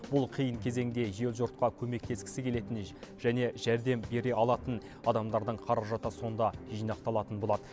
бұл қиын кезеңде ел жұртқа көмектескісі келетін және жәрдем бере алатын адамдардың қаражаты сонда жинақталатын болады